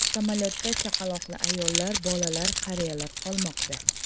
Samolyotda chaqaloqli ayollar, bolalar, qariyalar qolmoqda.